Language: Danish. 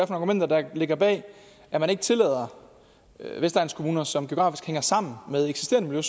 argumenter der ligger bag at man ikke tillader vestegnskommuner som geografisk hænger sammen med eksisterende